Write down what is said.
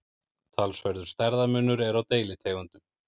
talsverður stærðarmunur er á deilitegundum